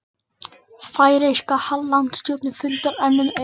Færeyska landstjórnin fundar enn um Eik